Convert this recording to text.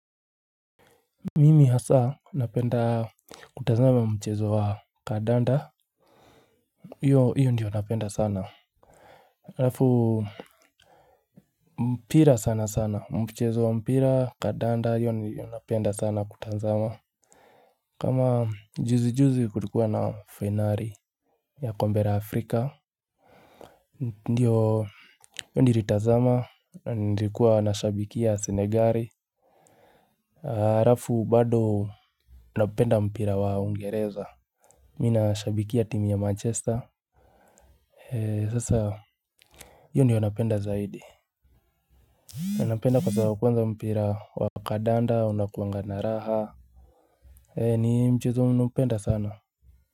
Mimi hasa napenda kutazama mchezo wa kandanda. Hiyo hiyo ndiyo napenda sana. Halafu mpira sana sana mchezo wa mpira kandanda hiyo ndiyo napenda sana kutazama. Kama juzi juzi kulikuwa na fainali ya kombe la Afrika. Ndiyo hiyo nilitazama, nilikuwa nashabikia Senegali halafu bado napenda mpira wa Uingereza. Mi nashabikia timu ya manchester, sasa hiyo ndiyo napenda zaidi napenda kwa sababu kwanza mpira wa kandanda unakuanga na raha, eeh, ni mchezo naupenda sana.